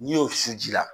N'i y'o susu ji la